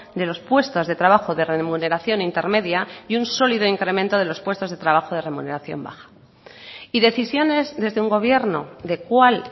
de los puestos de trabajo de remuneración intermedia y un sólido incremento de los puestos de trabajo de remuneración baja y decisiones desde un gobierno de cuál